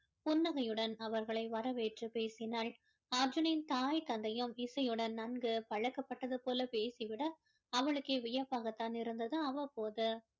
புன்னகையுடன் அவர்களை வரவேற்று பேசினாள் அர்ஜுனின் தாய் தந்தையும் இசையுடன் நன்கு பழக்கப்பட்டது போல பேசிவிட அவளுக்கே வியப்பாகத் தான் இருந்தது அவ்வப்போது